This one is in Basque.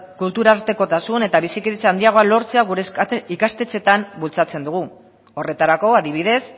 kulturartekotasun eta bizikidetza handiagoa lortzea gure ikastetxeetan bultzatzen dugu horretarako adibidez